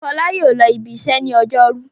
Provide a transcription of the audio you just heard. Fọlá yóò lọ ibiṣẹ́ ní ọjọ́rú!